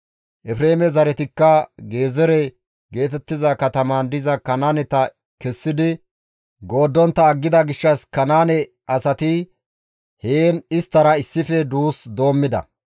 Efreeme zaretikka Gezeere geetettiza katamaan diza Kanaaneta kessidi gooddontta aggida gishshas Kanaane asati heen isttara issife duus doommida.